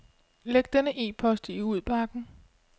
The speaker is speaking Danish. Læg denne e-post i udbakken.